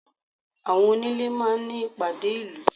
Àwọn onílé máa ń ní ìpàdé ìlú.